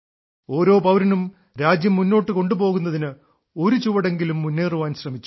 ഓരോ പൌരനും രാജ്യം മുന്നോട്ട് കൊണ്ടുപോകുന്നതിന് ഒരു ചുവട് എങ്കിലും മുന്നേറാൻ ശ്രമിച്ചു